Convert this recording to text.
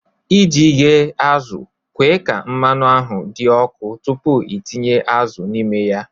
ị ji ghe azụ̀, kwe ka mmanụ ahụ dị ọkụ tupu ị tinye azụ̀ n'ime ya